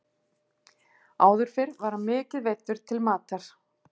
Áður fyrr var hann mikið veiddur til matar.